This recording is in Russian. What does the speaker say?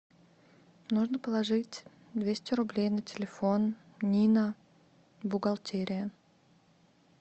нужно положить двести рублей на телефон нина бухгалтерия